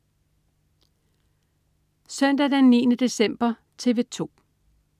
Søndag den 9. december - TV 2: